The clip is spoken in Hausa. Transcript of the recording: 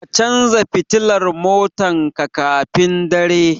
Ka canza fitila motan ka kafin dare tayi